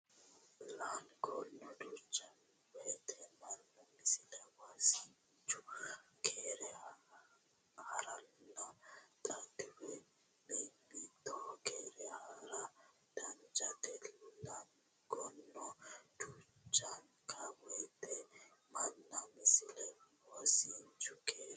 Laangono duuchanka woyte mannu Misile Wosinchu keere haa ranna xaadiwa mimmito keere haa ra danchate Laangono duuchanka woyte mannu Misile Wosinchu keere.